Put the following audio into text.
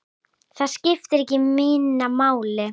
Það skiptir ekki minna máli.